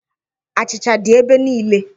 Achịcha dị ebe niile.